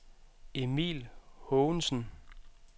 Emil Haagensen